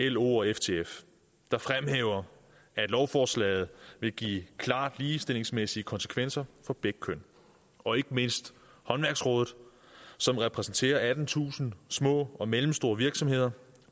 lo og ftf der fremhæver at lovforslaget vil give klart ligestillingsmæssige konsekvenser for begge køn og ikke mindst håndværksrådet som repræsenterer attentusind små og mellemstore virksomheder